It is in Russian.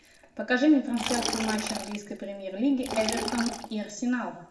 покажи мне трансляцию матча английской премьер лиги эвертон и арсенал